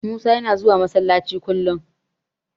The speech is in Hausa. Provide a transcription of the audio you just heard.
Musa yana zuwa Masallaci kullum.